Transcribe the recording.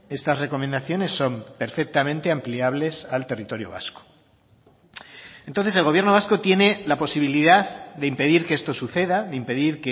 estas recomendaciones son perfectamente ampliables al territorio vasco entonces el gobierno vasco tiene la posibilidad de impedir que esto suceda de impedir